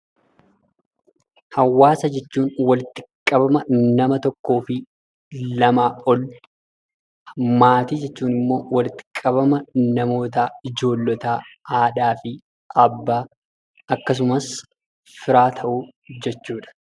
Hawaasa jechuun walitti qabama nama tokkoo fi lamaa ol, maatii jechuun ammoo walitti qabama namootaa ijoollotaa, haadhaa fi abbaa akkasumas firaa ta'uu jechuudha.